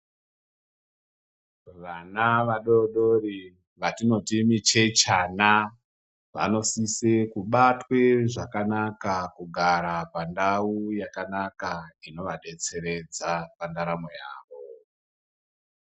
Vana vadori dori vatinoti michechana, vanosise kubatwe zvakanaka kugara pandau yakanaka zvinovadetseredza pandaramo yawo.